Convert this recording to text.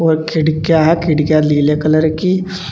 और खिड़कियां है। खिड़कियां लीले कलर की --